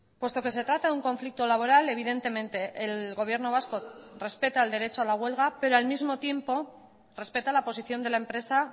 puesto que se trata de un conflicto laboral evidentemente el gobierno vasco respeta el derecho a la huelga pero al mismo tiempo respeta la posición de la empresa